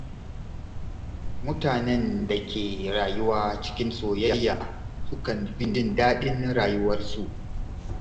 Mutanen da ke rayuwa cikin soyayya sukan fi jin daɗin rayuwarsu.